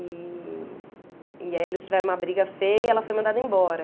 E... e aí eles tiveram uma briga feia e ela foi mandada embora.